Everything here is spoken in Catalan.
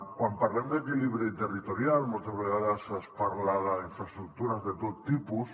quan parlem d’equilibri territorial moltes vegades es parla d’infraestructures de tot tipus